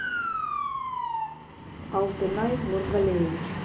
алтынай нургалеевич